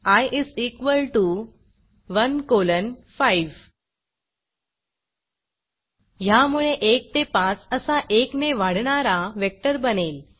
I is equal to 1 colon 5 ह्यामुळे 1 ते 5 असा 1 ने वाढणारा वेक्टर बनेल